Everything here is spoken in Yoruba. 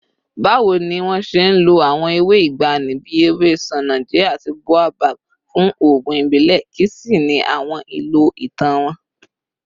Báwo ni wọ́n ṣe ń lo àwọn ewé ìgbàanì bí ewé ṣánájẹ́ àti boabab fún oògùn ìbílẹ̀, kí sì ni àwọn ìlò ìtàn wọn?